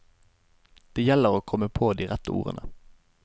Det gjelder å komme på de rette ordene.